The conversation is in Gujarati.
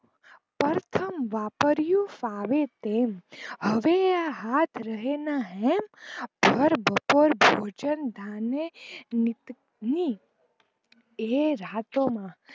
પ્રથમ વાપયુઁ ફાવે તેમ હવે આ હાથ રહે ના હેમ ભર બપોર ભોજન ધાને વિંનતી એ રાતો માં